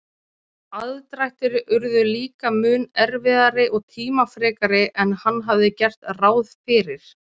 Aðdrættir urðu líka mun erfiðari og tímafrekari en hann hafði gert ráð fyrir.